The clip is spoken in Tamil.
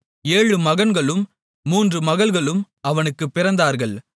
ஏழு மகன்களும் மூன்று மகள்களும் அவனுக்குப் பிறந்தார்கள்